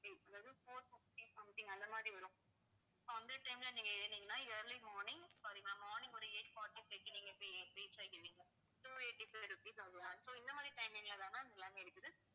four fifty something அந்த மாதிரி வரும் so அந்த time ல நீங்க ஏறுனீங்கன்னா early morning sorry ma'am morning ஒரு eight forty-five க்கு நீங்க போய் reach ஆகிருவீங்க two eighty-five rupees ஆகும் so இந்த மாதிரி timing ல தான் ma'am எல்லாமே இருக்குது